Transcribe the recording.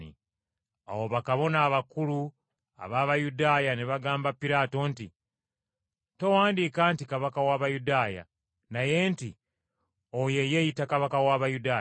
Awo bakabona abakulu ab’Abayudaaya ne bagamba Piraato nti, “Towandiika nti, ‘Kabaka w’Abayudaaya,’ naye nti, ‘Oyo eyeeyita Kabaka w’Abayudaaya.’ ”